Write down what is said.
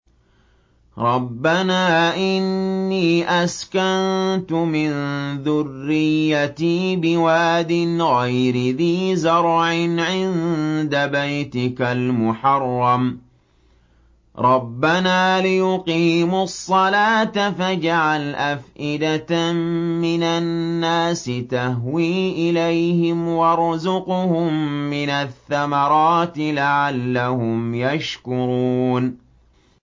رَّبَّنَا إِنِّي أَسْكَنتُ مِن ذُرِّيَّتِي بِوَادٍ غَيْرِ ذِي زَرْعٍ عِندَ بَيْتِكَ الْمُحَرَّمِ رَبَّنَا لِيُقِيمُوا الصَّلَاةَ فَاجْعَلْ أَفْئِدَةً مِّنَ النَّاسِ تَهْوِي إِلَيْهِمْ وَارْزُقْهُم مِّنَ الثَّمَرَاتِ لَعَلَّهُمْ يَشْكُرُونَ